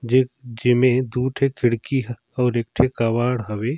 जे जेमे दु ठी खिड़की ह अऊ एक थी कबाड़ हवे।